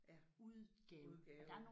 Ja udgave